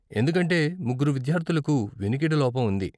ఎందుకంటే ముగ్గురు విద్యార్ధులకు వినికిడి లోపం ఉంది.